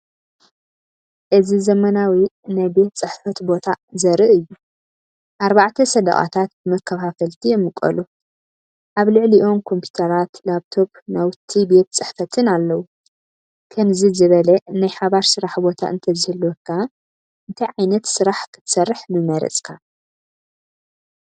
እዚ ዘመናዊ ናይ ቤት ጽሕፈት ቦታ ዘርኢ እዩ። ኣርባዕተ ሰደቓታት ብመከፋፈልቲ ይምቀሉ። ኣብ ልዕሊኦም ኮምፒዩተራት፡ ላፕቶፕ፡ ናውቲ ቤት ጽሕፈትን ኣለዉ። ከምዚ ዝበለ ናይ ሓባር ስራሕ ቦታ እንተዝህልወካ እንታይ ዓይነት ስራሕ ክትሰርሕ ምመረጽካ?